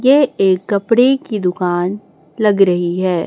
यह एक कपड़े की दुकान लग रही है।